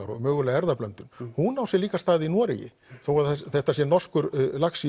og mögulega erfðablöndun hún á sér líka stað í Noregi þó að þetta sé norskur lax